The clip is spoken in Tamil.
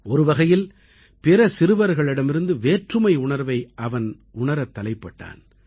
ஒருவகையில் பிற சிறுவர்களிடமிருந்து வேற்றுமை உணர்வை அவன் உணரத் தலைப்பட்டான்